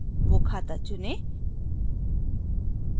वो खाता चुनें